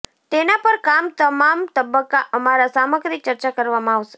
તેના પર કામ તમામ તબક્કા અમારા સામગ્રી ચર્ચા કરવામાં આવશે